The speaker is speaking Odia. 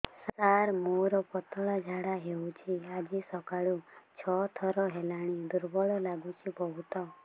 ସାର ମୋର ପତଳା ଝାଡା ହେଉଛି ଆଜି ସକାଳୁ ଛଅ ଥର ହେଲାଣି ଦୁର୍ବଳ ଲାଗୁଚି ବହୁତ